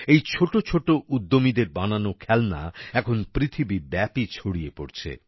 এই ছোট ছোট উদ্যমীদের বানানো খেলনা এখন পৃথিবীব্যাপী ছড়িয়ে পড়ছে